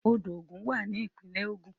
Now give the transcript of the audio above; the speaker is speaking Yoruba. Odò Ògùn wà ní ìpínlẹ̀ Ògun.